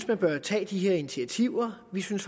man bør tage de her initiativer vi synes